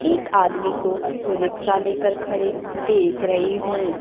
एक आदमी को रिक्शा लेकर खड़े देख रही हूं।